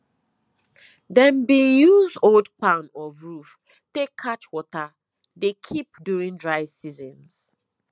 dem bin use old kpan of roof take catch water dey keep during dry seasons